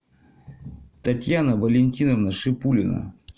татьяна валентиновна шипулина